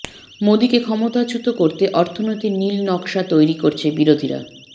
মোদীকে ক্ষমতাচ্যুত করতে অর্থনীতির নীল নকশা তৈরি করছে বিরোধীরা